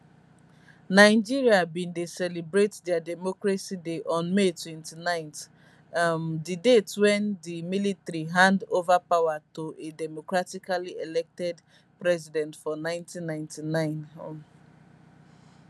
nigeria bin dey celebrate dia democracy day on may 29 um di date wen di military hand over power to a democratically elected president for 1999 um